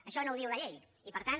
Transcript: això no ho diu la llei i per tant